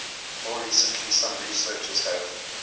more recently some researchers have